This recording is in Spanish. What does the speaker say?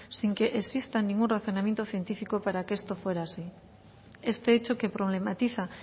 sin que exista ningún razonamiento científico para que esto fuera así este hecho que problematiza